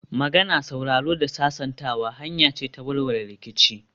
Magana, sauraro da sasantawa hanya ce ta warware rikici